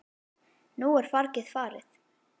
Nú er fargið farið.